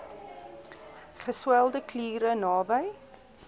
geswelde kliere naby